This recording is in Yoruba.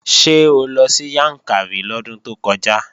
Ṣé o lọ sí Yàǹkàrí lọ́dún tó kọjá?